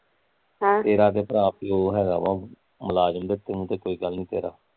ਆਹ ਤੇਰਾ ਤੇ ਭਰਾ ਪਿਉ ਹੈਗਾ ਵਾਂ ਮੁਲਾਜ਼ਮ ਤੂੰ ਤੇ ਕੋਈ ਗੱਲ ਨੀ ਤੇਰਾ